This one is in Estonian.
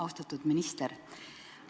Austatud minister!